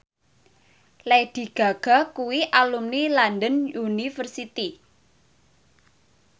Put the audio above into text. Lady Gaga kuwi alumni London University